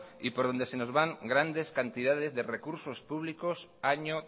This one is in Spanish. y por donde se nos van grandes cantidades de recursos públicos año